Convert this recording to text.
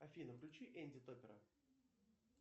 афина включи энди топпера